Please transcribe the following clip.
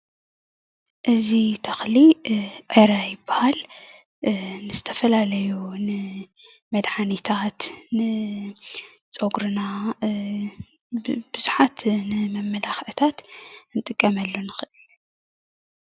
እዚ ተክሊ ዕረ ይበሃል ንዝተፈላለዩ መድሓኒታት ንፀጉርና ንብዙሓት ንመማላክዒታት ክንጥቀመሉ ንክእል፡፡